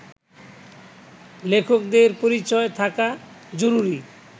লেখকদের পরিচয় থাকা জরুরি